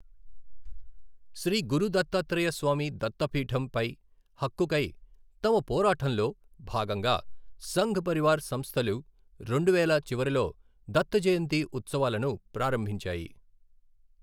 శ్రీ గురు దత్తాత్రేయ స్వామి దత్తపీఠం' పై హక్కుకై తమ పోరాటంలో భాగంగా సంఘ్ పరివార్ సంస్థలు రెండువేల చివరిలో 'దత్త జయంతి' ఉత్సవాలను ప్రారంభించాయి.